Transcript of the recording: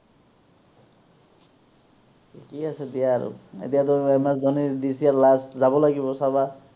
ঠিকে আছে দিয়া আৰু, এতিয়াতো MS ধনিৰ this year last যাব লাগিব চাবা